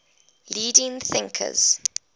leading thinkers laozi